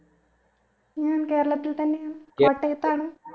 ഞാൻ കേരളത്തിൽ തന്നെ ആണ് കോട്ടയത്താണ്